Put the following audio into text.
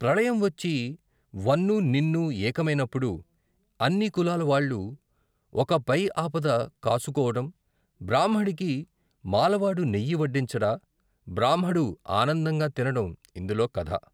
ప్రళయం వచ్చి వన్నూ ని న్నూ ఏకమైనప్పుడు అన్ని కులాలవాళ్ళు ఒక పై ఆపద కాసుకోవడం, బ్రాహ్మడికి మాలవాడు నెయ్యి వడ్డించడ", బ్రాహ్మడు ఆనందంగా తినడం ఇందులో కథ....